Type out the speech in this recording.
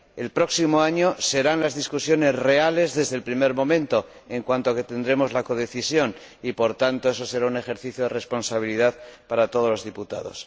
El próximo año, las discusiones serán reales desde el primer momento por cuanto tendremos la codecisión y, por tanto, eso será un ejercicio de responsabilidad para todos los diputados.